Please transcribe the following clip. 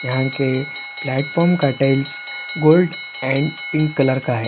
यहाँ के प्लेटफार्म का टाइल्स गोल्ड और पिंक कलर का है।